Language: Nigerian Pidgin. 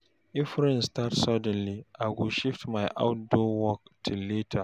If rain start suddenly, I go shift my outdoor work till later.